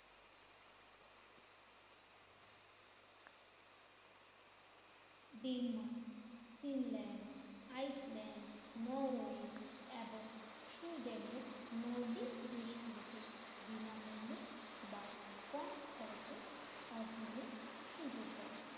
Denmark Greenland Iceland Norway এবং সুইডেনের নওদিপ দেশগুলোতে বিনামূল্যে বা কম খরচে অধ্যয়নের সুযোগ দেয় l